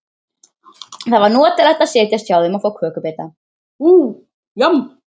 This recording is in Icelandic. Það var notalegt að setjast hjá þeim og fá kökubita.